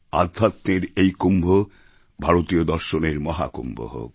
আধ্যাত্মের এই কুম্ভ ভারতীয় দর্শনের মহাকুম্ভ হোক